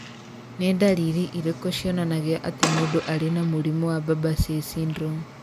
Nĩ ndariri irĩkũ cionanagia atĩ mũndũ arĩ na mũrimũ wa Barber Say syndrome?